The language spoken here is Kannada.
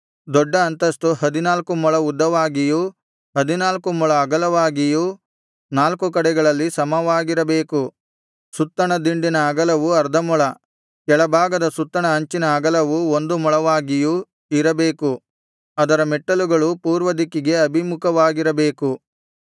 ದೊಡ್ಡ ಅಂತಸ್ತು ಹದಿನಾಲ್ಕು ಮೊಳ ಉದ್ದವಾಗಿಯೂ ಹದಿನಾಲ್ಕು ಮೊಳ ಅಗಲವಾಗಿಯೂ ನಾಲ್ಕು ಕಡೆಗಳಲ್ಲಿ ಸಮವಾಗಿರಬೇಕು ಸುತ್ತಣ ದಿಂಡಿನ ಅಗಲವು ಅರ್ಧ ಮೊಳ ಕೆಳಭಾಗದ ಸುತ್ತಣ ಅಂಚಿನ ಅಗಲವು ಒಂದು ಮೊಳವಾಗಿಯೂ ಇರಬೇಕು ಅದರ ಮೆಟ್ಟಲುಗಳು ಪೂರ್ವದಿಕ್ಕಿಗೆ ಅಭಿಮುಖವಾಗಿರಬೇಕು